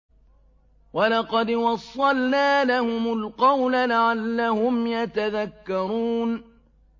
۞ وَلَقَدْ وَصَّلْنَا لَهُمُ الْقَوْلَ لَعَلَّهُمْ يَتَذَكَّرُونَ